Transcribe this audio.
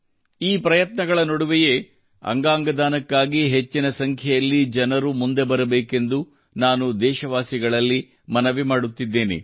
ಈ ಪ್ರಯತ್ನಗಳ ನಡುವೆಯೇ ಅಂಗಾಂಗ ದಾನಕ್ಕಾಗಿ ಹೆಚ್ಚಿನ ಸಂಖ್ಯೆಯಲ್ಲಿ ಜನರು ಮುಂದೆ ಬರಬೇಕೆಂದು ನಾನು ದೇಶವಾಸಿಗಳಲ್ಲಿ ಮನವಿ ಮಾಡುತ್ತಿದ್ದೇನೆ